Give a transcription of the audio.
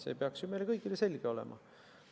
See peaks ju meile kõigile selge olema.